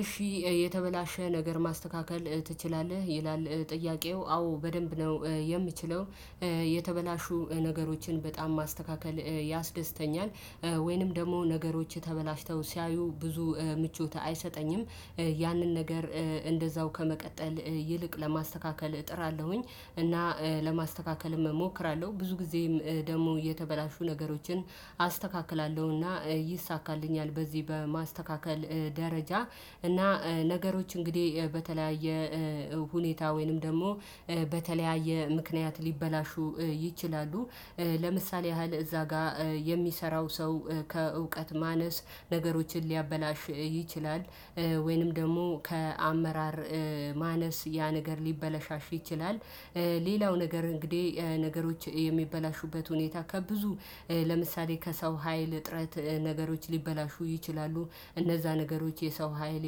እሺ የተበላሸ ነገር ማስተካከል ትችላለህ ይላል ጥያቄው አዎ በደንብ ነው የምችለው። የተበላሹ ነገሮችን በጣም ማስተካከል ያስደስተኛል። ወይንም ደግሞ ነገሮች ተበላሽተው ሲያዩ ብዙ ምቾት አይሰጠኝም። ያንን ነገር እንደዛው ከመቀጠል ይልቅ ለማስተካከል እጥራለሁኝ። እና ለማስተካከል እሞክራለሁ ብዙ ጊዜም ደግሞ የተበላሹ ነገሮችን አስተካክላለሁና ይይሳካልኛል። በዚህ በማስተካከል ደረጃ እና ነገሮች እንግዲህ በተለያየ ሁኔታ ወይንም ደግሞ በተለያየ ምክንያት ሊበላሹ ይችላሉ። ለምሳሌ ያህል እዛ ጋር የሚሰራው ሰው ከእውቀት ማነስ ነገሮችን ሊያበላሽ ይችላል። ወይንም ደግሞ ከአመራር ማነስ ያ ነገር ሊበላሽ ይችላል። ሌላው ነገር እንግዲህ ነገሮች የሚበላሹበት ሁኔታ ከብዙ ለምሳሌ ከሰው ሀይል እጥረት ነገሮች ሊበላሹ ይችላሉ። እነዛ ነገሮች የሰው ሀይል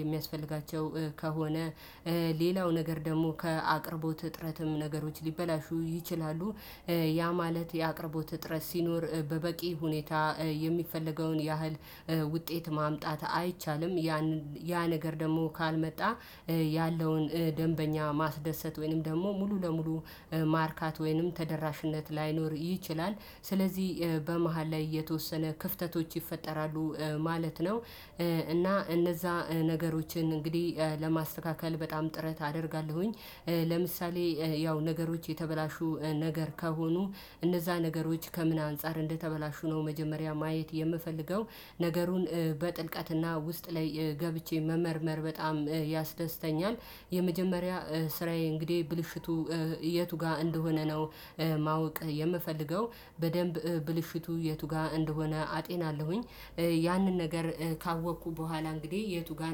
የሚያስፈልጋቸው ከሆነ። ሌላው ነገር ደግሞ ከአቅርቦት እጥረትም ነገሮች ሊበላሹ ይችላሉ። ያ ማለት የአቅርቦት እጥረት ሲኖር በበቂ ሁኔታ የሚፈለገውን ያህል ውጤት ማምጣት አይቻልም። ያን ያ ነገር ደግሞ ካልመጣ ያለውን ደንበኛ ማስደሰት ወይንም ደግሞ ሙሉ ለሙሉ ማርካት ወይንም ተደራሽነት ላይኖር ይችላል። ስለዚህ በመሃል ላይ የተወሰነ ክፍተቶች ይፈጠራሉ ማለት ነው። እና እነዛ ነገሮችን እንግዲህ ለማስተካከል በጣም ጥረት አደርጋለሁኝ። ለምሳሌ ያው ነገሮች የተበላሹ ነገር ከሆኑ እነዛ ነገሮች ከምን አንፃር እንደተበላሹ ነው መጀመሪያ ማየት የምፈልገው። ነገሩን በጥልቀትና ውስጥ ላይ ገብቼ መመርመር በጣም ያስደስተኛል። የመጀመሪያ ስራዬ እንግዲህ ብልሽቱ የቱ ጋር እንደሆነ ነው። ማወቅ የምፈልገው በደንብ ብልሽቱ የቱ ጋር እንደሆነ አጤናለሁኝ። ያንን ነገር ካወቅኩ በኋላ እንግዲህ የቱ ጋር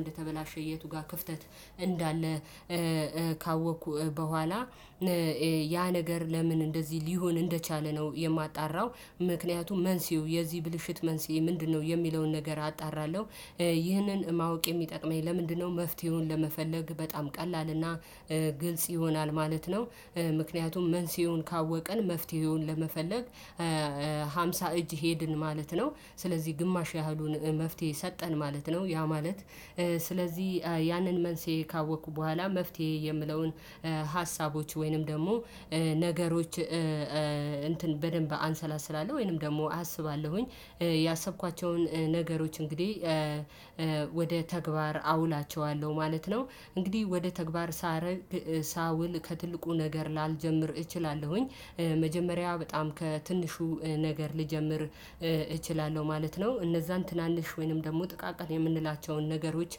እንደተበላሸ የቱ ጋር ክፍተት እንዳለ። ካወቅኩ በኋላ ያ ነገር ለምን እንደዚህ ሊሆን እንደቻለ ነው የማጣራው። ምክንያቱም መንስኤው የዚህ ብልሽት መንስኤ ምንድነው? የሚለውን ነገር አጣራለሁ። ይህንን ማወቅ የሚጠቅመኝ ለምንድነው? መፍትሄውን ለመፈለግ በጣም ቀላል እና ግልጽ ይሆናል ማለት ነው። ምክንያቱም መንስኤውን ካወቅን መፍትሄውን ለመፈለግ ሃምሳ እጅ ሄድን ማለት ነው። ስለዚህ ግማሽ ያህሉን መፍትሄ ሰጠን ማለት ነው። ያ ማለት ስለዚህ ያንን መንስኤ ካወቅኩ በኋላ መፍትሄ የምለውን ሀሳቦች ወይንም ደግሞ ነገሮች እንትን በደንብ አንሰላስላለሁ ወይንም ደግሞ አስባለሁኝ። ያሰብኳቸውን ነገሮች እንግዲህ ወደ ተግባር አውላቸዋለሁ ማለት ነው። እንግዲህ ወደ ተግባር ሳረግ ሳውል ከትልቁ ነገር ላልጀምር እችላለሁኝ። መጀመሪያ በጣም ከትንሹ ነገር ልጀምር እችላለሁ ማለት ነው። እነዛን ትናንሽ ወይንም ደግሞ ጥቃቅን የምንላቸውን ነገሮች።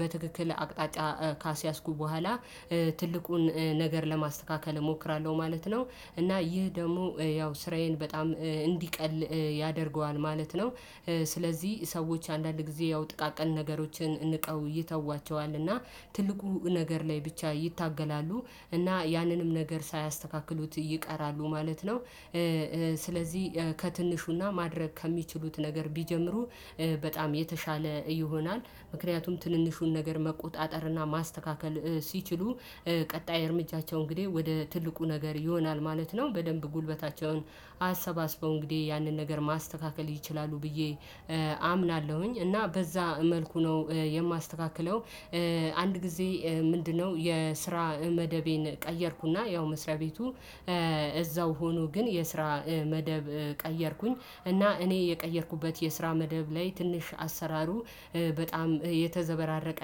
በትክክል አቅጣጫ ካስያዝኩ በኋላ ትልቁን ነገር ለማስተካከል እሞክራለሁ ማለት ነው። እና ይህ ደግሞ ያው ስራዬን በጣም እንዲቀል ያደርገዋል ማለት ነው። ስለዚህ ሰዎች አንዳንድ ጊዜ ያው ጥቃቅን ነገሮችን ንቀው ይተዋቸዋል እና ትልቁ ነገር ላይ ብቻ ይታገላሉ እና ያንንም ነገር ሳያስተካክሉት ይቀራሉ ማለት ነው። ስለዚህ ከትንሹና ማድረግ ከሚችሉት ነገር ቢጀምሩ በጣም የተሻለ ይሆናል። ምክንያቱም ትንንሹን ነገር መቆጣጠርና ማስተካከል ሲችሉ ቀጣይ እርምጃቸው እንግዲህ ወደ ትልቁ ነገር ይሆናል ማለት ነው። በደንብ ጉልበታቸውን አሰባስበው እንግዲህ ያንን ነገር ማስተካከል ይችላሉ ብዬ አምናለሁኝ እና በዛ መልኩ ነው የማስተካክለው። አንድ ጊዜ ምንድነው? የስራ መደቤን ቀየርኩና ያው መስሪያ ቤቱ እዛው ሆኖ ግን የስራ መደብ ቀየርኩኝ እና እኔ የቀየርኩበት የስራ መደብ ላይ ትንሽ አሰራሩ በጣም የተዘበራረቀ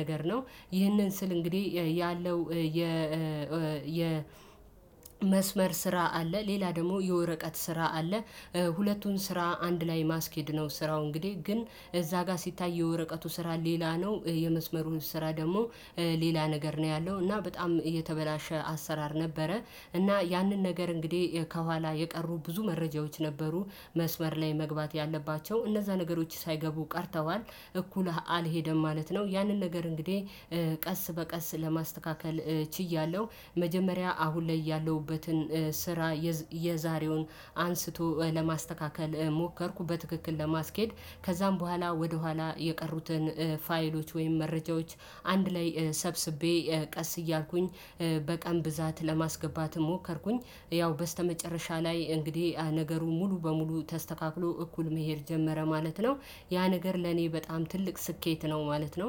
ነገር ነው። ይህንን ስል እንግዲህ ያለው የ የ መስመር ስራ አለ ሌላ ደግሞ የወረቀት ስራ አለ። ሁለቱን ስራ አንድ ላይ ማስኬድ ነው ስራው እንግዲህ ግን እዛ ጋር ሲታይ የወረቀቱ ስራ ሌላ ነው የመስመሩን ስራ ደግሞ ሌላ ነገር ነው ያለው እና በጣም የተበላሸ አሰራር ነበረ። እና ያንን ነገር እንግዲህ ከኋላ የቀሩ ብዙ መረጃዎች ነበሩ። መስመር ላይ መግባት ያለባቸው እነዛ ነገሮች ሳይገቡ ቀርተዋል እኩልህ አልሄደም ማለት ነው። ያንን ነገር እንግዲህ ቀስ በቀስ ለማስተካከል ችያለሁ። መጀመሪያ አሁን ላይ ያለሁበትን ስራ የዛሬውን አንስቶ ለማስተካከል ሞከርኩ በትክክል ለማስኬድ ከዛም በኋላ ወደኋላ የቀሩትን ፋይሎች ወይም መረጃዎች አንድ ላይ ሰብስቤ ቀስ እያልኩኝ በቀን ብዛት ለማስገባትም ሞከርኩኝ ያው በስተመጨረሻ ላይ እንግዲህ ነገሩ ሙሉ በሙሉ ተስተካክሎ እኩል መሄድ ጀመረ ማለት ነው። ያ ነገር ለኔ በጣም ትልቅ ስኬት ነው ማለት ነው